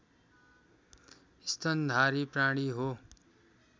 स्तनधारी प्राणी हो